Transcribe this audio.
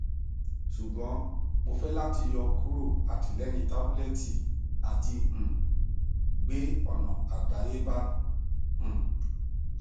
ṣugbọn mo fẹ lati yọkuro atilẹyin tabulẹti ati um gbe ọna adayeba um